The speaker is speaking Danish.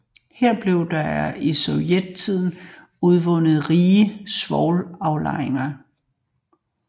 Her blev der i sovjettiden udvundet rige svovlaflejringer